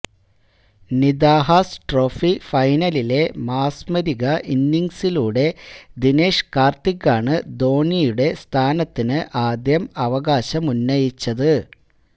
Nidahas trophy ഫൈനലിലെ മാസ്മരിക ഇന്നിങ്സിലൂടെ ദിനേഷ് കാര്ത്തികാണ് ധോണിയുടെ സ്ഥാനത്തിന് ആദ്യം അവകാശമുന്നയിച്ചത്